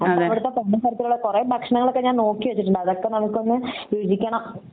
അവിടുത്തെ കൊറേ ഭക്ഷണങ്ങൾ ഒക്കെ ഞാൻ നോക്കിവെച്ചിട്ടുണ്ട് അതൊക്കെ നമുകൊന്ന് വീതിക്കണം